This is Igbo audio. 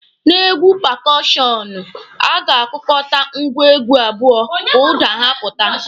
N'egwu pakọọshọnụ, a ga-akụkọta ngwa egwu abụọ ka ụda ha pụta.